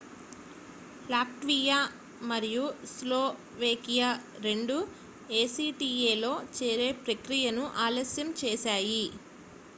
Latvia మరియు Slovakia రెండూ ACTA లో చేరే ప్రక్రియను ఆలస్యం చేశాయి